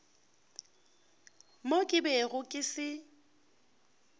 mo ke bego ke se